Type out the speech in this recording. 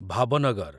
Bhavnagar